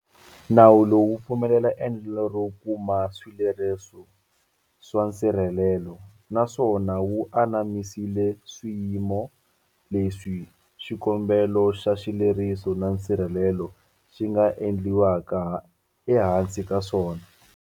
Nawu lowu wu pfumelela endlelo ro kuma swileriso swa nsirhelelo, naswona wu anamisile swiyimo leswi xikombelo xa xileriso xa nsirhelelo xi nga endliwaka ehansi ka swona.